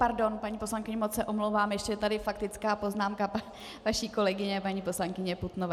Pardon, paní poslankyně moc se omlouvám, ještě je tady faktická poznámka vaší kolegyně paní poslankyně Putnové.